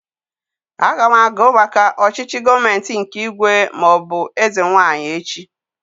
Aga m agụ maka ọchịchị gọọmenti nke ígwè maọbụ eze nwaanyị echi